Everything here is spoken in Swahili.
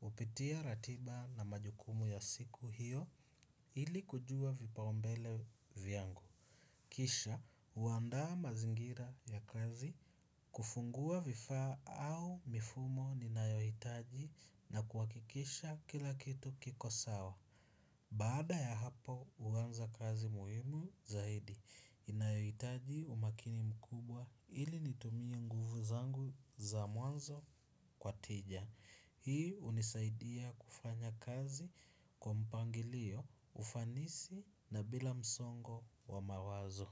Hupitia ratiba na majukumu ya siku hiyo ili kujua vipaombele vyangu. Kisha, huandaa mazingira ya kazi, kufungua vifaa au mifumo ninayohitaji na kuhakikisha kila kitu kiko sawa. Baada ya hapa huanza kazi muhimu zaidi, inayohitaji umakini mkubwa ili nitumie nguvu zangu za mwanzo kwa tija. Hii hunisaidia kufanya kazi kwa mpangilio, ufanisi na bila msongo wa mawazo.